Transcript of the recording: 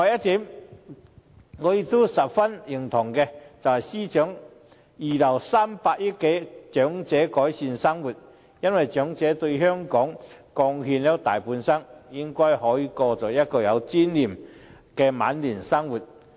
此外，我十分認同司長預留300億元改善長者生活，因為長者為香港貢獻了大半生，應該可以過有尊嚴的晚年生活。